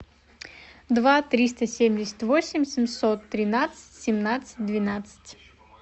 два триста семьдесят восемь семьсот тринадцать семнадцать двенадцать